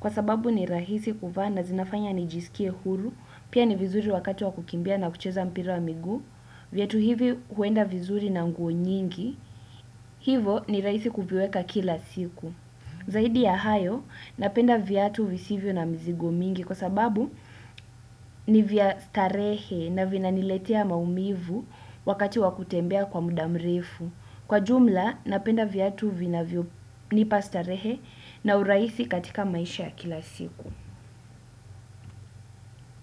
kwa sababu ni rahisi kuvaa na zinafanya nijisikie huru, pia ni vizuri wakati wa kukimbia na kucheza mpira wa miguu. Viatu hivi huenda vizuri na nguo nyingi, hivo ni rahisi kuviweka kila siku. Zaidi ya hayo, napenda viatu visivyo na mzigo mingi, kwa sababu ni vya starehe na vina niletia maumivu wakati wa kutembea kwa mudamrefu. Kwa jumla, napenda viatu vinavyo ni pastarehe na uraisi katika maisha kila siku.